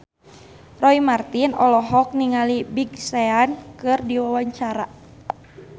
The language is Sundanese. Roy Marten olohok ningali Big Sean keur diwawancara